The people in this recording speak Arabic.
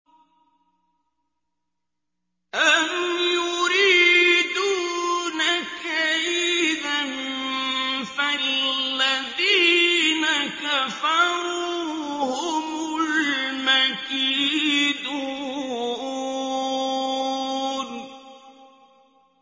أَمْ يُرِيدُونَ كَيْدًا ۖ فَالَّذِينَ كَفَرُوا هُمُ الْمَكِيدُونَ